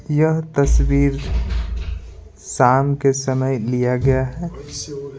यह तस्वीर शाम के समय लिया गया है।